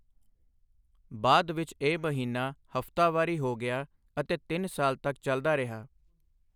ਬਾਅਦ ਵਿੱਚ ਇਹ ਮਹੀਨਾ ਹਫ਼ਤਾਵਾਰੀ ਹੋ ਗਿਆ ਅਤੇ ਤਿੰਨ ਸਾਲ ਤੱਕ ਚਲਦਾ ਰਿਹਾ।